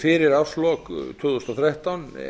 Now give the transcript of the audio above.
fyrir árslok tvö þúsund og þrettán